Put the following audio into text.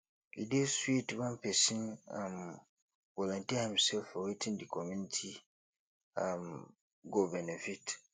e dey sweet when pesin um volunteer himself for wetin di community um go benefit